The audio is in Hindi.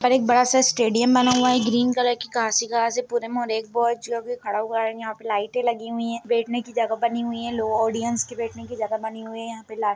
एक बड़ा सा स्टेडियम बना हुआ है ग्रीन कलर की घास ही घास है पुरे खड़ा हुआ है यहाँ पे लाइटे लगी हुई है बैठने की जगह बनी हुई है लोग ऑडियंस की बैठने की जगह बनी हुई है यहाँ पे लाइ --